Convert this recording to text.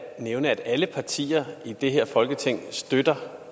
nævne at alle partier i det her folketing støtter